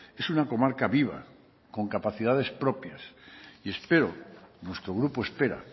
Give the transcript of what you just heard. es una comarca viva con capacidades propias y espero nuestro grupo espera